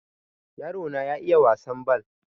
yarona ya iiya wasan bal